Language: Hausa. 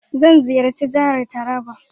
Zan ziyarci jihar Taraba.